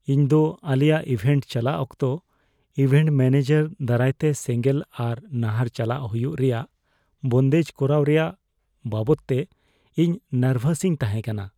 ᱤᱧ ᱫᱚ ᱟᱞᱮᱭᱟᱜ ᱤᱵᱷᱮᱱᱴ ᱪᱟᱞᱟᱜ ᱚᱠᱛᱚ ᱤᱵᱷᱮᱱᱴ ᱢᱮᱹᱱᱮᱡᱟᱨ ᱫᱟᱨᱟᱭᱛᱮ ᱥᱮᱸᱜᱮᱞ ᱟᱨ ᱱᱟᱦᱟᱨ ᱪᱟᱞᱟᱜ ᱦᱩᱭᱩᱜ ᱨᱮᱭᱟᱜ ᱵᱚᱱᱫᱮᱡ ᱠᱚᱨᱟᱣ ᱨᱮᱭᱟᱜ ᱵᱟᱵᱚᱫᱛᱮ ᱤᱧ ᱱᱟᱨᱵᱷᱟᱥ ᱤᱧ ᱛᱟᱦᱮᱸ ᱠᱟᱱᱟ ᱾